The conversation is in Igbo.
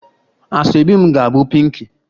Asoebi m ga-abụ pinki